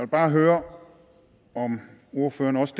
bare høre om ordføreren også